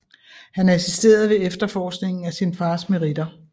Han assisterede ved efterforskningen af sin faders meritter